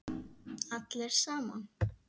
Allir saman.